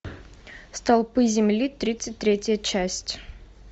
столпы земли тридцать третья часть